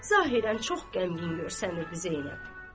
Zahirən çox qəmgin görünürdü Zeynəb.